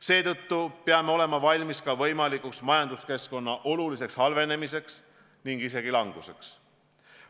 Seetõttu peame olema valmis võimalikuks majanduskeskkonna oluliseks halvenemiseks ning isegi majanduse languseks.